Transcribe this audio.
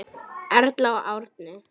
Erla og Árni.